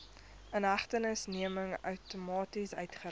inhegtenisneming outomaties uitgereik